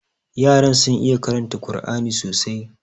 Yaran sun iya karanta Kur'ani sosai.